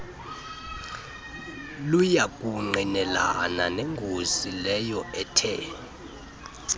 luyakungqinelana nengozi leyoethe